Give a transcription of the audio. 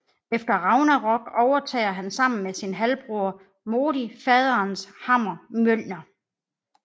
Efter Ragnarok overtager han sammen med sin halvbror Modi faderens hammer Mjølner